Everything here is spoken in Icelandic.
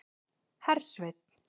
Hersveinn